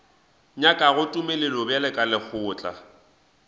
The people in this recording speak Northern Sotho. nyakago tumelelo bjalo ka lekgotla